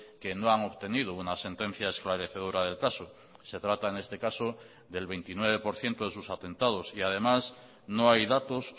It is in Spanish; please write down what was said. que no han obtenido una sentencia esclarecedora del caso se trata en este caso del veintinueve por ciento de sus atentados y además no hay datos